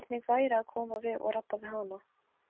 Hvernig væri að koma við og rabba við hana?